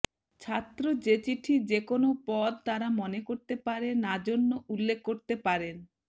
ছাত্র যে চিঠি যে কোন পদ তারা মনে করতে পারে না জন্য উল্লেখ করতে পারেন